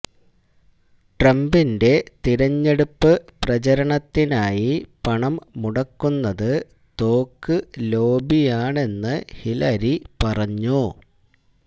ട്രംപിന്റെ തിരഞ്ഞെടുപ്പ് പ്രചരണത്തിനായി പണം മുടക്കുന്നത് തോക്ക് ലോബിയാണെന്ന് ഹിലരി പറഞ്ഞു